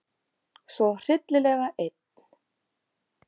Svo hryllilega einn.